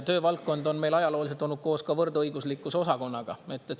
Töövaldkond on meil ajalooliselt olnud koos võrdõiguslikkuse osakonnaga.